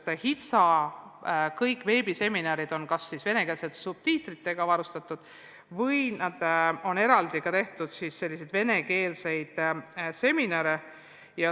Kõik HITSA veebiseminarid on venekeelsete subtiitritega, aga tehtud on ka eraldi venekeelseid seminare.